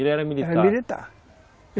Ele era militar, ele era militar.